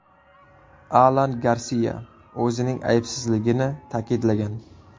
Alan Garsiya o‘zining aybsizligini ta’kidlagan.